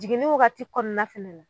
Jigini wagati kɔnɔna fɛnɛ na